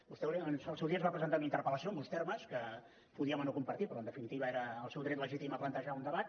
vostè al seu dia ens va presentar una interpel·lació amb uns termes que podíem o no compartir però en definitiva era el seu dret legítim a plantejar un debat